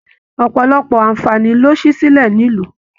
Ọpọlọpọ aanfani ló sì silẹ nílu.